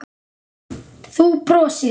Þú brosir.